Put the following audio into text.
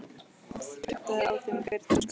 Það kjaftaði á þeim hver tuska.